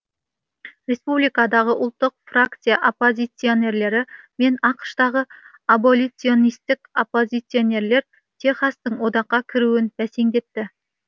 республикадағы ұлттық фракция оппозиционерлері мен ақш тағы аболиционистік оппозиционерлер техастың одаққа кіруін бәсеңдетті